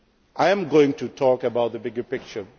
issues. I am going to talk about the bigger picture